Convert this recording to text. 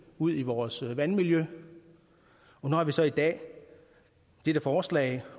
ud i vores vandmiljø og nu har vi så i dag dette forslag